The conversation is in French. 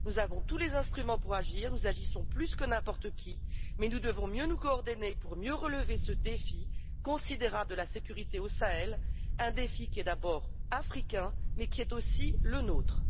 Nous avons tous les instruments pour agir et nous agissons plus que n'importe qui, mais nous devons mieux nous coordonner pour relever ce défi considérable de la sécurité au Sahel, un défi qui est d'abord africain, mais qui est aussi le nôtre.